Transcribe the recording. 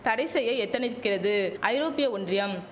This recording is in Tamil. தடை செய்ய எத்தனிக்கிறது ஐரோப்பிய ஒன்றியம்